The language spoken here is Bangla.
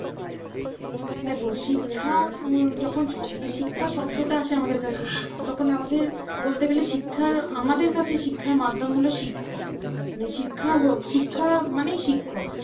দেখ শিক্ষা যখন শিক্ষা শব্দটা আসে আমাদের কাছে তখন আমাদের বলতে গেলে শিক্ষার আমাদের কাছে শিক্ষার মাধ্যম হল শিক্ষক। মানে শিক্ষা মানেই শিক্ষক